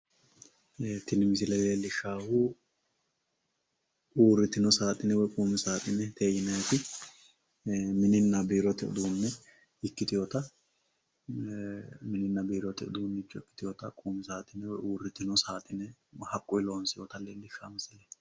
tini misile leellishshaahu uurritino saaxine woyi qumi saaxine yinanniti ee mininna biirote uduunne ikkitewota ee mininna biirote uduunne ikkitewota uurritino saaxine haqqunni loonsoonnita leellishshanno misileeti.